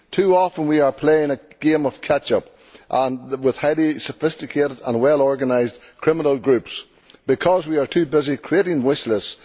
Too often we are playing a game of catch up with heavy, sophisticated and well organised criminal groups, because we are too busy creating wish lists.